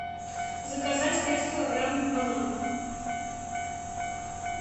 заказать пять килограммов бананов